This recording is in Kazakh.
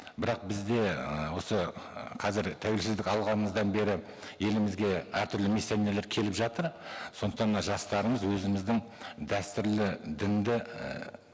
бірақ бізде ыыы осы қазір тәуелсіздік алғанымыздан бері елімізге әртүрлі миссионерлер келіп жатыр сондықтан мына жастарымыз өзіміздің дәстүрлі дінді ііі